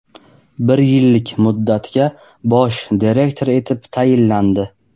bir yillik muddatga bosh direktor etib tayinlandi.